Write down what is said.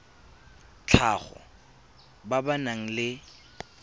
tlhago ba ba nang le